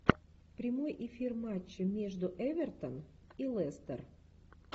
прямой эфир матча между эвертон и лестер